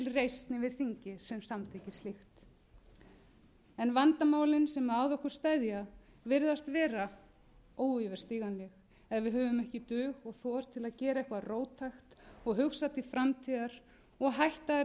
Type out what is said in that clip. reisn yfir þingi sem samþykkir slíkt vandamálin sem að okkur steðja virðast vera óyfirstíganleg ef við höfum ekki dug og þor til að gera eitthvað róttækt og hugsa til framtíðar og hætta að